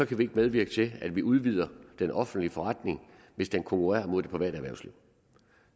kan vi ikke medvirke til at vi udvider den offentlige forretning hvis den konkurrerer mod det private erhvervsliv